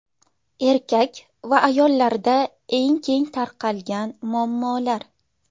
Erkak va ayollarda eng keng tarqalgan muammolar.